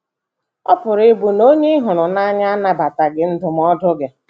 Ọ pụrụ ịbụ na onye ị ị hụrụ n’anya anabataghị ndụmọdụ gị.